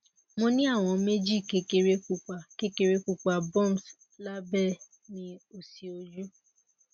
mo ni awọn meeji kekere pupa kekere pupa bumps labẹ mi osi oju